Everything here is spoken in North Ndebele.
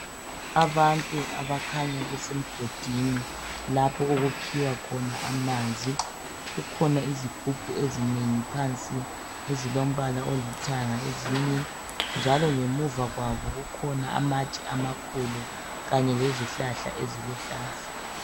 Abantu abakhanya besemgodini lapho okukhiwa khona amanzi, kukhona izigubhu ezinengi phansi ezilombala olithanga ezinye, njalo ngemuva kwabo kukhona amatshe amakhulu kanye lezihlahla eziluhlaza.